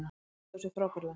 Þeir stóðu sig frábærlega